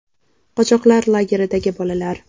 Qochoqlar lageridagi bolalar.